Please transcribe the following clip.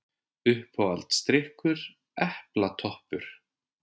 Uppáhalds drykkur: epla toppur